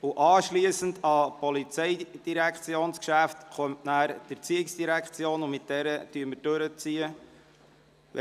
Im Anschluss an die POMGeschäfte folgen jene der ERZ, und mit diesen ziehen wir durch.